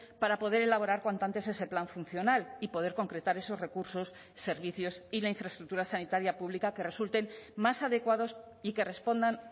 para poder elaborar cuanto antes ese plan funcional y poder concretar esos recursos servicios y la infraestructura sanitaria pública que resulten más adecuados y que respondan